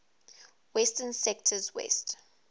western sectors west